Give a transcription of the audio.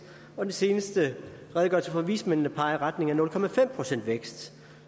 og den seneste redegørelse fra vismændene peger i retning af nul procent vækst